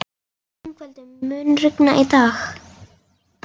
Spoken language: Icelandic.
Yngveldur, mun rigna í dag?